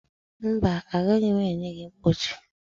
mba, agaghị m enye gị mkpọchi